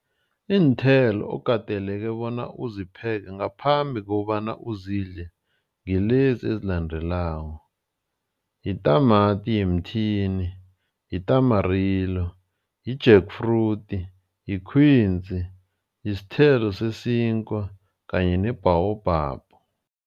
Iinthelo okateleke bona uzipheke ngaphambi kobana uzidle. Ngilezi ezilandelako, yitamati yemthini, i-tamarillo, i-jackfruit, yi-quince, yisithelo sesinkwa kanye ne-baobab.